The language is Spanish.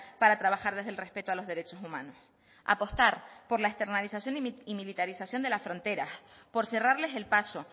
para trabajar desde el respeto a los derechos humanos apostar por la externalización y militarización de las fronteras por cerrarles el paso